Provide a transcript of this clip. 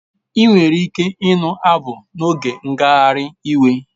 Enwere ike ịnụ abụ n'oge ngagharị iwe